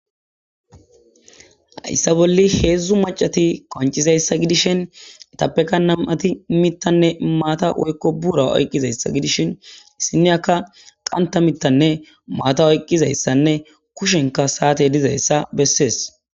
hayssa bolli heedzdzu macati qoncizayssa gidishin etappeka nam"ati mittanne maata woykko buura oyqqizayssa gidishin issine akka qanta mittanne maata oyqqizayssanne kushenka saate dizayssa bessees.